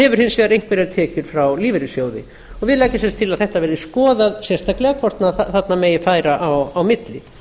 hins vegar einhverjar tekjur frá lífeyrissjóði og við leggjum sem sagt til að þetta verði skoðað sérstaklega hvort þarna megi færa á milli